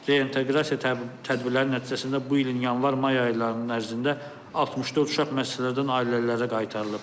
Reinteqrasiya tədbirləri nəticəsində bu ilin yanvar-may ayları ərzində 64 uşaq müəssisələrdən ailələrə qaytarılıb.